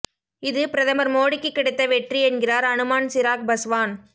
இது பிரதமர் மோடிக்கு கிடைத்த வெற்றி என்கிறார் அனுமான் சிராக் பஸ்வான்